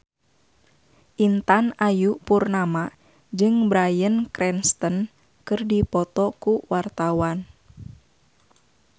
Intan Ayu Purnama jeung Bryan Cranston keur dipoto ku wartawan